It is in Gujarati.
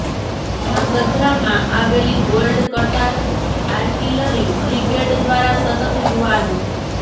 ધ્રાંગધ્રામાં આવેલી ગોલ્ડ કટાર આર્ટીલરી બ્રિગેડ દ્વારા સતત યુવાનો